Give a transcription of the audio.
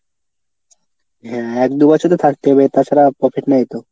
হ্যাঁ এক দু বছর তো থাকতেই হবে তাছাড়া profit নেই তো।